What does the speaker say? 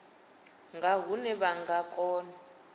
nga hune vha nga kona